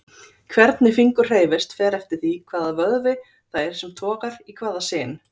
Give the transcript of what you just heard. Hvernig fingur hreyfist fer eftir því hvaða vöðvi það er sem togar í hvaða sin.